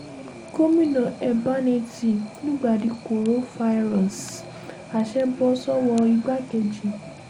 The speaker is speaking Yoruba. gomina ẹ̀bánẹ́ẹ̀tì lùgbàdì korofairọ́ọ̀sì àsè bọ́ sọ́wọ́ igbákejì